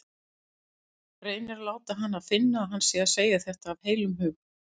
Reynir að láta hana finna að hann sé að segja þetta af heilum hug.